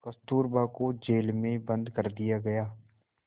कस्तूरबा को जेल में बंद कर दिया गया